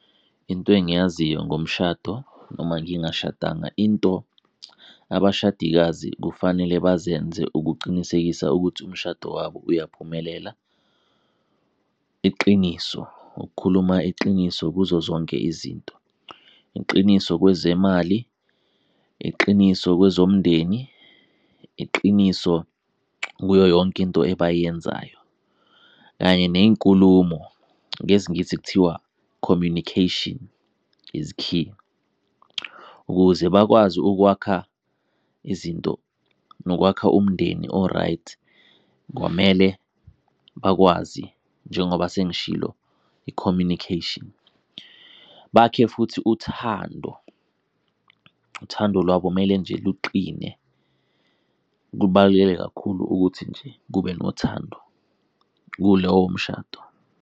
Into engiyaziyo ngomshado noma ngingashadanga, into abashadikazi kufanele bazenze ukuqinisekisa ukuthi umshado wabo uyaphumelela, iqiniso, ukukhuluma iqiniso kuzo zonke izinto, iqiniso kwezemali, iqiniso kwezomndeni, iqiniso kuyo yonke into ebayenzayo kanye ney'nkulumo. NgesiNgisi kuthiwa communication is key. Ukuze bakwazi ukwakha izinto nokwakha umndeni o-right kwamele bakwazi njengoba sengishilo, i-communication. Bakhe futhi uthando uthando lwabo mele nje luqine. Kubaluleke kakhulu ukuthi nje kube nothando kulowo mshado.